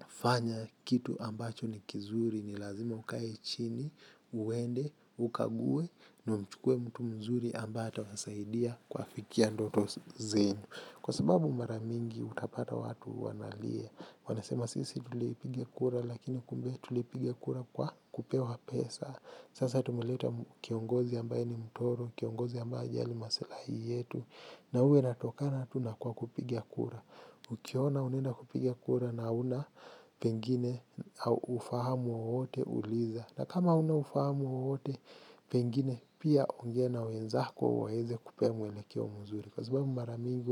kufanya kitu ambacho ni kizuri ni lazima ukae chini uende, ukague. Na mchukue mtu mzuri ambaye ata wasaidia kwafikia ndoto zenu. Kwa sababu maramingi utapata watu wanalia. Wanasema sisi tulipiga kura lakini kumbia tulipiga kura kwa kupewa pesa. Sasa tumuleta kiongozi ambaye ni mtoro, kiongozi ambaye hajali masilahi yetu. Na huwa inatokana tu nakwa kupigia kura. Ukiona unenda kupigia kura na hauna pengine ufahamu wowote uliza. Na kama hauna ufahamu wote, pengine pia ungea na wenzako waweze kukupea mwelekeo mzuri. Kwa sababu mara mingi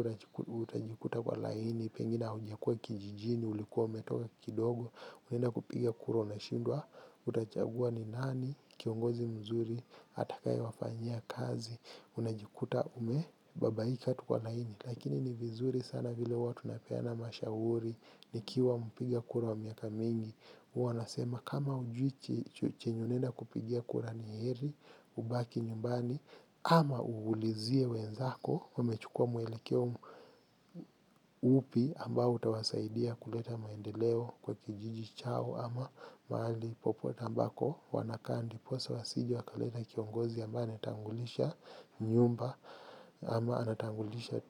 utajikuta kwa laini, pengine haujakua kijijini, ulikuwa umetoka kidogo, unenda kupiga kuro na shindwa, utachagua ni nani, kiongozi mzuri, atakaye wafanyia kazi, unajikuta umebabaika tu kwa laini. Lakini ni vizuri sana vile huwa tunapeana mashahuri, nikiwa mpiga kura wa miaka mingi. Huwa nasema kama hujui chenye unenda kupigia kura niheri ubaki nyumbani ama ulizie wenzako wamechukua mwelekeo upi ambao utawasaidia kuleta maendeleo kwa kijiji chao ama mahali popote ambako wanakaa ndiposa wasije wakaleta kiongozi ambaye anatangulisha nyumba ama anatangulisha.